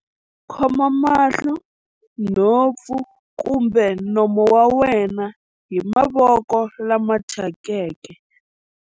Khoma mahlo, nhompfu kumbe nomo wa wena hi mavoko lama thyakeke.